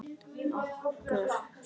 Nokkur orð frá ömmu.